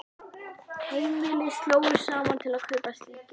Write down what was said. Heimili slógu saman til að kaupa slík járn.